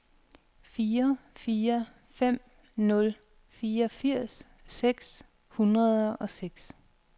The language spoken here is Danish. fire fire fem nul fireogfirs seks hundrede og seks